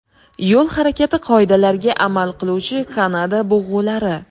Yo‘l harakati qoidalariga amal qiluvchi Kanada bug‘ulari.